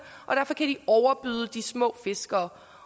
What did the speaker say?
og derfor kan de overbyde de små fiskere